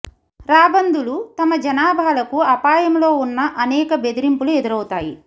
రాబందులు తమ జనాభాలకు అపాయంలో ఉన్న అనేక బెదిరింపులు ఎదురవుతాయి